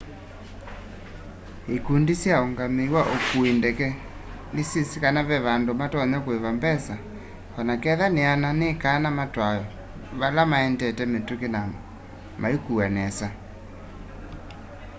ĩkũndĩ sya ũũngamĩĩ wa ũkũĩ ndeke nĩsyĩsĩ kana ve andũ matonya kũĩva mbesa onaketha nĩana nĩkana matwawe vala maendete mĩtũkĩ na maĩkũwa nesa